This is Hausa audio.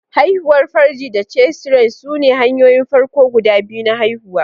Haihuwar farji da cesarean sune hanyoyin farko guda biyu na haihuwa.